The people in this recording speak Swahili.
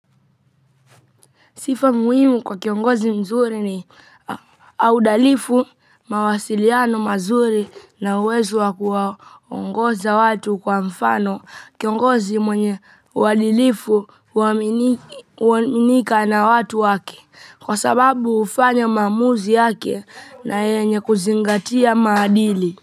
Sifa muhimu kwa kiongozi mzuri ni audalifu mawasiliano mazuri na uwezo wa kuwaongoza watu kwa mfano kiongozi mwenye uadilifu huaminika na watu wake kwa sababu hufanya maamuzi yake na yenye kuzingatia maadili.